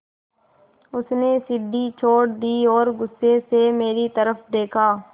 उसने सीढ़ी छोड़ दी और गुस्से से मेरी तरफ़ देखा